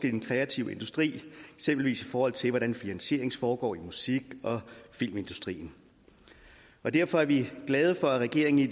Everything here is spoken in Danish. i den kreative industri eksempelvis i forhold til hvordan finansieringen foregår i musik og filmindustrien derfor er vi glade for at regeringen i